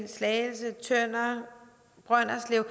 slagelse tønder brønderslev